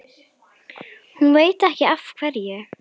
Hún veit ekki af hverju.